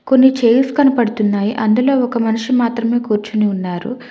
కొన్ని చైర్స్ కనబడుతున్నాయి అందులో ఒక మనిషి మాత్రమే కూర్చోని ఉన్నారు.